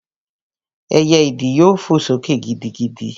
Ẹyẹ ìdí yóò fò sókè gidigidi